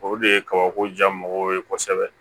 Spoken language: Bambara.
O de ye kabako ja mɔgɔw ye kosɛbɛ